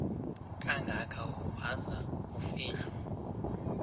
kangaka waza kufihlwa